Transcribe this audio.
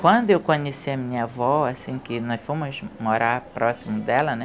Quando eu conheci a minha avó, assim, que nós fomos morar próximos dela, né?